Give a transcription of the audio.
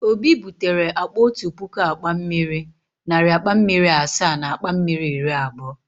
Obi butere akpa otu puku akpa mmiri, narị akpa mmiri asaa na akpa mmiri iri abụọ.